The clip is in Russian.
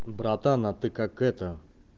братан а ты как это